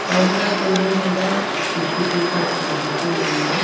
Counter table మీద tissue papers కనిపిస్తూ ఉన్నాయి.